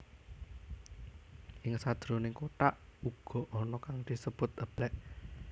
Ing sajroning kothak uga ana kang disebut eblek